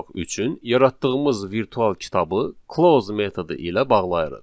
üçün yaratdığımız virtual kitabı close metodu ilə bağlayırıq.